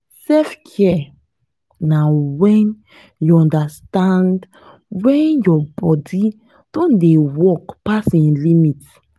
selfcare na when you understand when your body don dey work pass im limit